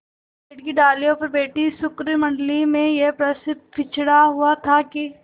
पेड़ की डालियों पर बैठी शुकमंडली में यह प्रश्न छिड़ा हुआ था कि